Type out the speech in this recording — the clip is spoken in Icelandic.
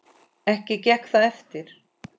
Ekki gekk það eftir.